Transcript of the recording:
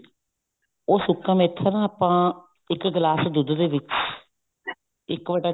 ਉਹ ਸੁੱਕਾ ਮੇਥਾ ਨਾ ਆਪਾਂ ਇੱਕ ਗਿਲਾਸ ਦੁੱਧ ਦੇ ਵਿੱਚ ਇੱਕ ਬਟਾ